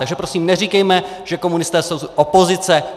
Takže prosím neříkejme, že komunisté jsou opozice.